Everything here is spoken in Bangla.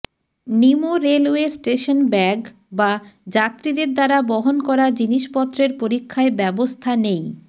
নিমো রেলওয়ে স্টেশন ব্যাগ বা যাত্রীদের দ্বারা বহন করা জিনিসপত্রের পরীক্ষায় ব্যবস্থা নেই